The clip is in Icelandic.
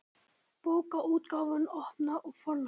Bókaútgáfan Opna og Forlagið.